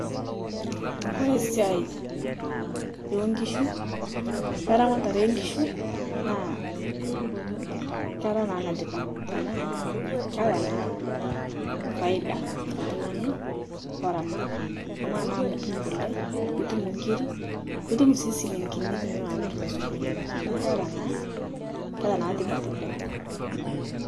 Kore siai onkishu, eramataree enkishu naa keraa naa netipat tanaa keata naa faida teltung'ani loramat amaa naa amu itum kule nitum nkirii nitum sii silinkini tiniloo amir tosokonii naa keata naa tipat oleng' .